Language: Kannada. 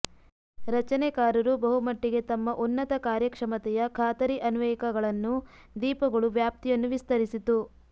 ರಚನೆಕಾರರು ಬಹುಮಟ್ಟಿಗೆ ತಮ್ಮ ಉನ್ನತ ಕಾರ್ಯಕ್ಷಮತೆಯ ಖಾತರಿ ಅನ್ವಯಿಕಗಳನ್ನು ದೀಪಗಳು ವ್ಯಾಪ್ತಿಯನ್ನು ವಿಸ್ತರಿಸಿತು